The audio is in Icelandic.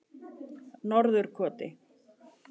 Norðurkoti